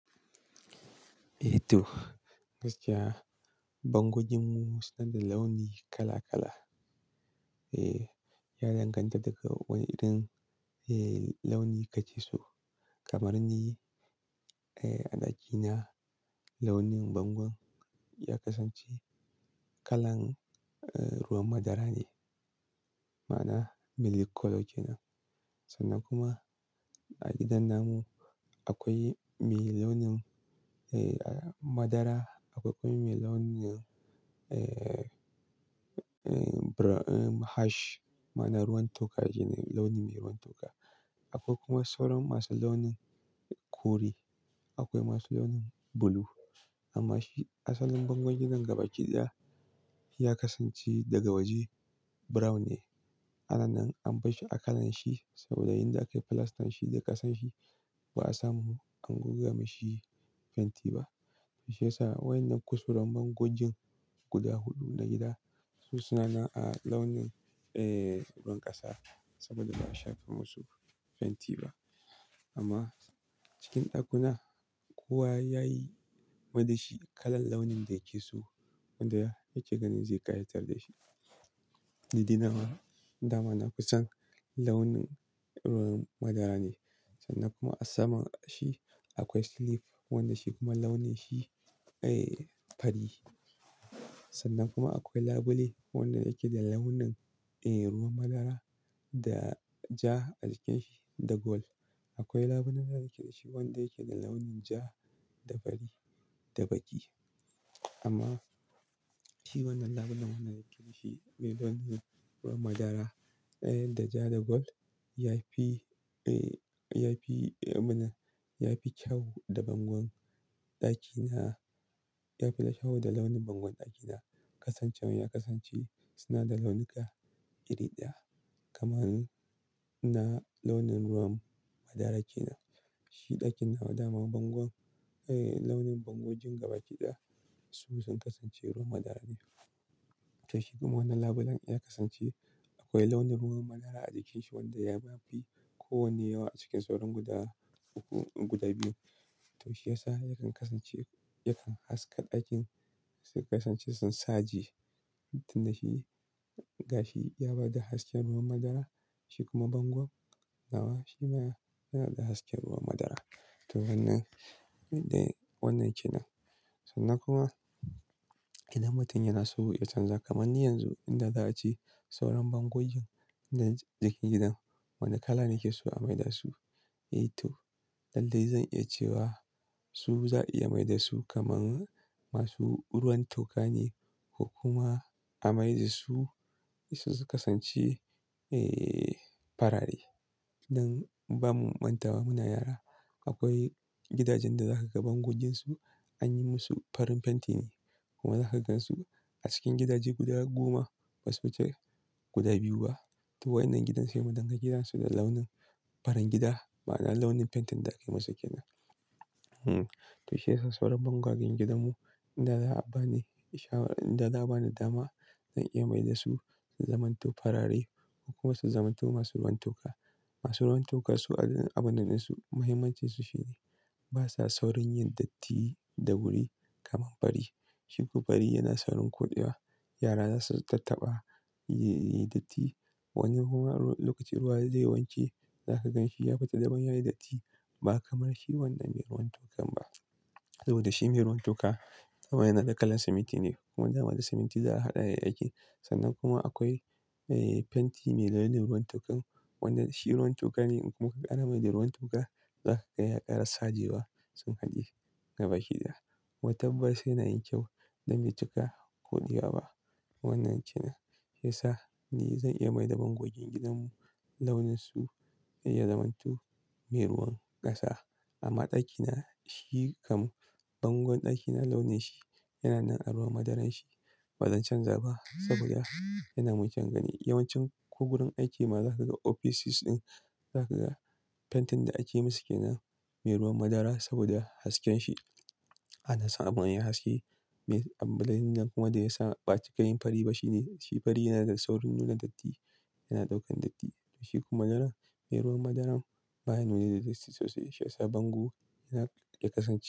Eh to, gaskiya bangojinmu suna da launi kala kala. Eh, ya danganta daga wane irin, eh, launi kake so. Kamar ni, eh, a ɗakina launin bangon ya kasance kalan, eh, ruwan madara ne, ma'ana milky colour kenan. Sannan kuma a gidan na mu akwai mai launin, eh, madara, akwai kuma mai launin, eh, brown, ash ma'ana ruwan toka shine launi mai ruwan toka. Akwai kuma sauran masu launin kore, akwai masu launin blue. Amma shi asalin bangon gidan gaba ɗaya ya kasance daga waje brown ne. Ana nan an bashi a kalan shi saboda yan da akayi plastan shi da kasan shi ba a samu an guga mashi fenti ba. To shiyasa wannan kusauren bangojin guda huɗu na gida su suna a launin, eh, ruwan ƙasa saboda ba a shafa musu fenti ba. Amma cikin ɗakuna kowa yayi ma dashi kalan launin da yake so wanda yake ganin zai ƙayatar da shi. Ni dai na ma, dama na kusan launin ruwan madara ne. Sannan kuma a saman shi akwai silif wanda shi kuma launin shi, eh, fari. Sannan kuma akwai labule wanda yake da launin, eh, ruwan madara da ja a jikin shi da gold. Akwai labulen da yake da shi wanda yake da launin ja da fari da baki. Amma shi wannan labulen wanda yake da shi mai launin ruwan madara, eh, da ja da gold yafi, eh, yafi, abun nan, yafi kyau da bangon ɗakina. Yafi kyau da launin bangon ɗakina. Kasancewan ya kasance suna da launuka iri ɗaya kamar na launin ruwan madara kenan. Shi ɗakin na ma dama bangon, eh, launin bangojin gaba ɗaya su sun kasance ruwan madara ne. Tashi kuma wannan labulen ya kasance akwai launin ruwan madara a jikin shi wanda ya ma fi kowane yawa a cikin sauran guda uku, guda biyu. To shiyasa yakan kasance, yakan haska ɗakin sun kasance sun sa ji tun da shi, gashi ya bada hasken ruwan madara. Shi kuma bangon nawa shi ma yana da hasken ruwan madara. To wannan, wannan kenan. Sannan kuma idan mutum yana so ya canza kamar ni yanzu inda za a ci sauran bangojin na jikin gidan wane kala nake so a mai da su? Eh to, lallai zan iya cewa su za'a iya mai da su kamar masu ruwan toka ne ko kuma a mai da su su kasance, eh, farare. Nan ba mu manta ba muna yara akwai gidajin da za ka ga bangoijinsu an yi musu farin fenti ne. Kuma za ka gan su a cikin gidaje guda goma was special guda biyu ba. To waɗannan gidan sai mu danganta gidansu da launin farin gida ma'ana launin fentin da akayi masa kenan. Hmm, to shiyasa sauran bangoijin gidanmu inda za'a bani, shawarar inda za'a bani dama zan iya mai da su su zamanto farare ko kuma su zamanto masu ruwan toka. Masu ruwan toka su abun ɗinsu mahimmancinsu shine basa saurin yin datti da wuri kamar fari. Shi kuma fari yana saurin koɗewa. Yara zasu tattaɓa, yayi datti. Wani kuma lokacin ruwa zai wanke za ka gan shi ya fita daban ya yi datti. Ba kamar shi wanda mai ruwan tokan ba. Saboda shi mai ruwan toka a waye na da kala siminti ne kuma dama da siminti za a haɗa ya yi aiki. Sannan kuma akwai, eh, fenti mai launin ruwan tokan wanda shi ruwan toka ne kuma ka ƙara mai da ruwan toka za ka ga ya ƙara saje ba sun haɗu gaba ɗaya. Kuma tabbas yana yin kyau don mai cika koɗewa ba. Wannan kenan. Shiyasa ni zan iya mai da bangoijin gidanmu launin su ya zamanto mai ruwan ƙasa. Amma ɗakina shi kam bangon ɗakina launin shi yana nan a ruwan madaran shi. Ba zan canza ba saboda yana mulkin gani. Yawancin ko gurin aiki ma za ka ga ofisus ɗin za ka ga fentin da akeyi musu kenan mai ruwan madara saboda hasken shi. Ana samu hakan ya haske. Me, abun nan kuma da yasa ba cika yin fari ba shine shi fari yana da saurin nuna datti, yana ɗaukan datti. To shi kuma madara mai ruwan madaran baya nuna datti sosai shiyasa bango yana, ya kasance.